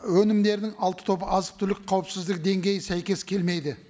өнімдерінің алты тобы азық түлік қауіпсіздігі деңгейі сәйкес келмейді